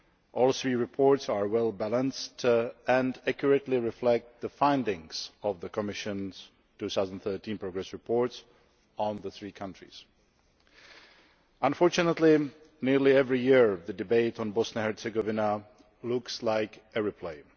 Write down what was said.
All three reports are well balanced and accurately reflect the findings of the Commission's 2013 Progress Reports on the three countries. Unfortunately, nearly every year, the debate on Bosnia and Herzegovina looks like a replay.